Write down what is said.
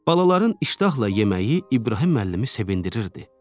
Balaların iştahla yeməyi İbrahim müəllimi sevindirirdi.